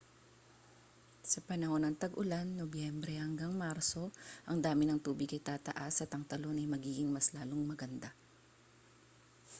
sa panahon ng tag-ulan nobyembre hanggang marso ang dami ng tubig ay tataas at ang talon ay magiging mas lalong maganda